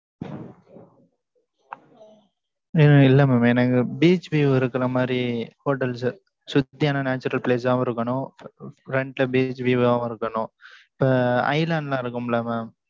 உம் இல்லை mam எனக்கு beach view இருக்கிற மாதிரி, hotels சுத்தி அன natural place ஆவும் இருக்கணும். Front ல beach view ஆவும் இருக்கணும். இப்ப, island லா இருக்கும்ல mam